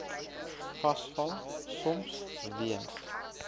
vasval soms weens